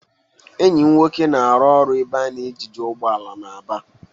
Enyi m nwoke na-arụ ọrụ n'ebe a na-ogige ụgbọala na Aba.